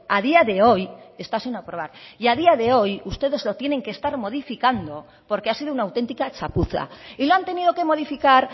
a día de hoy está sin aprobar y a día de hoy ustedes lo tienen que estar modificando porque ha sido una auténtica chapuza y lo han tenido que modificar